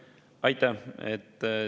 Aitäh!